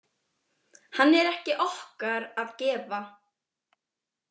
Hann er ekki okkar að gefa.